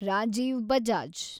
Rajiv Bajaj